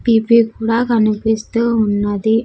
P-P కూడా కనిపిస్తూ ఉన్నది.